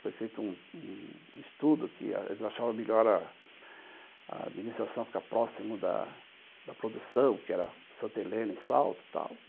Foi feito um um estudo que eles achavam melhor a administração ficar próximo da produção, que era Santa Helena e Salto e tal.